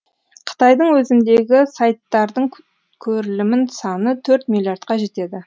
қытайдың өзіндегі сайттардың көрілімінің саны төрт миллиардқа жетеді